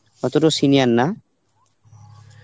অতটা senior না.